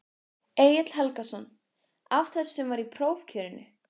Egill Helgason: Af þessu sem var í prófkjörinu?